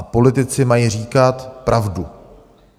A politici mají říkat pravdu.